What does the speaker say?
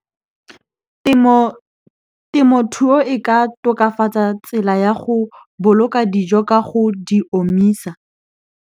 Temothuo e ka tokafatsa tsela ya go boloka dijo ka go di omisa.